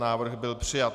Návrh byl přijat.